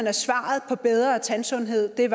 at svaret på bedre tandsundhed var